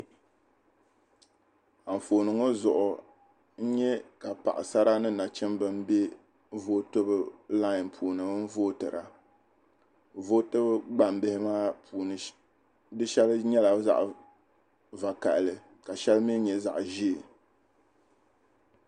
Anfooni ŋɔ zuɣu n nya ka paɣisara ni nachimba m-be lain zuɣu n-vootira. Vootibu gbambihi maa puuni shɛli nyɛla zaɣ' vakahili ka shɛli mi nyɛ zaɣ' ʒee.